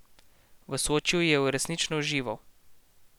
V Sočiju je resnično užival.